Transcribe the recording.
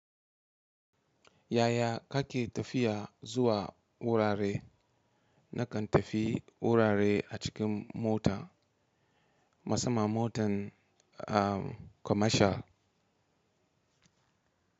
Yaya kake tafiya zuwa wurare? Nakan tafi wurare a cikin mota, musamman motan, ah, commercial.